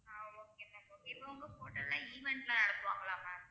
ஆஹ் okay ma'am okay இப்ப உங்க hotel ல event லா நடத்துவாங்கலா ma'am